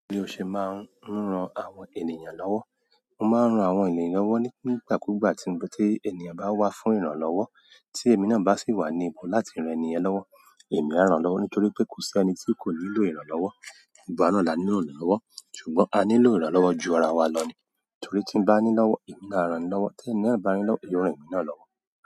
Bí o ṣe máa ń ran àwọn ènìyàn lọ́wọ́. Mo máa ń ran àwọn ènìyàn lọ́wọ́ nígbà kúgbà tí ènìyàn bá wá fún ìrànlọ́wọ́, tí èmi náà bá sì wà ní ipò láti rán ènìyàn lọ́wọ́, èmi á rán lọ́wọ́ nítorí pé kò sí ẹni tí kò nílò ìrànlọ́wọ́. Gbogbo wá náà la nílò ìrànlọ́wọ́, ṣùgbọ́n a nílò ìrànlọ́wọ́ ju ara wa lọ ni, torí tí ń bá nílọ́wọ́, èmi á rán ẹni lọ́wọ́, tí ẹ́ni náà bá ní lọ́wọ́, yóò ràn emi náà lọ́wọ́.